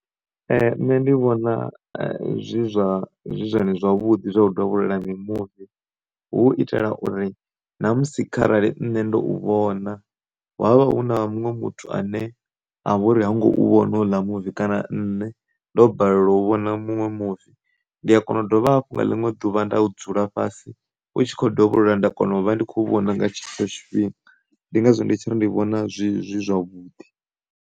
Nṋe ndi vhona zwi zwa, zwi zwone zwavhuḓi zwa u dovholola mimuvi hu u itela uri namusi kharali nṋe ndo u vhona ha vha hu na muṅwe muthu ane a vhori ha ngo u vhona houḽa muvi kana nne ndo balelwa u vhona muṅwe muvi ndi, a kona u dovha hafhu nga ḽiṅwe ḓuvha nda dzula fhasi u tshi kho dovholola nda kona u vha ndi tshi khou vhona nga tshetsho tshifhinga, ndi ngazwo ndi tshiri ndi vhona zwi, zwi zwavhuḓi.